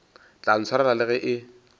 tla ntshwarela le ge e